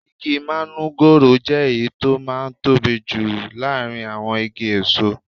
Igi manugoro jẹ́ èyí tó máa ń tóbi jù láàárín àwọn igi èso.